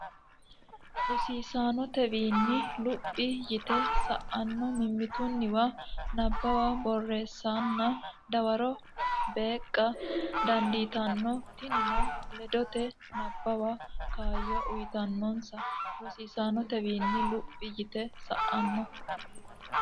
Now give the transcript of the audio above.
Rosaanotewiinni luphi yite sa ino mimmitunniwa nabbawa borreessanna dawaro beeqqa dandiitanno tinino ledote nabbawa kaayyo uytannonsa Rosaanotewiinni luphi yite sa ino.